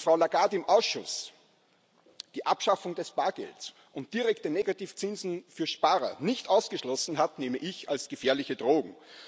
Dass Frau Lagarde im Ausschuss die Abschaffung des Bargelds und direkte Negativzinsen für Sparer nicht ausgeschlossen hat, nehme ich als gefährliche Drohung.